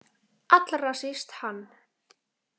Allra síst hann.